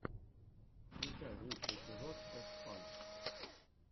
включай лучший эпизод тесфан